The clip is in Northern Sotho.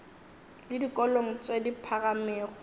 le dikolong tše di phagamego